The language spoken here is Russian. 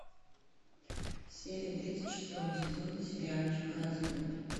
серия тридцать шестого сезона сериальчика развод